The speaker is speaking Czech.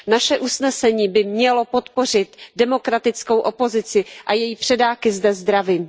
Naše usnesení by mělo podpořit demokratickou opozici a její předáky zde zdravím.